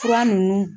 Fura ninnu